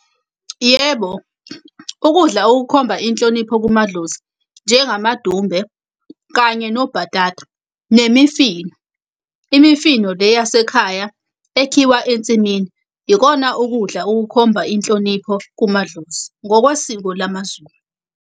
Yebo, ukudla okukhomba inhlonipho kumadlozi, njengamadumbe kanye nobhatata, nemifino. Imifino le yasekhaya ekhiwa ensimini. Ikona ukudla okukhomba inhlonipho kumadlozi, ngokwesiko lamaZulu.